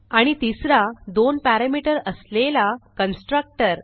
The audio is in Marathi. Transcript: आणि तिसरा दोन पॅरामीटर असलेला कन्स्ट्रक्टर